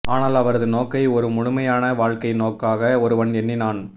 ஆனால் அவரது நோக்கை ஒரு முழுமையான வாழ்க்கை நோக்காக ஒருவன் எண்ணினான்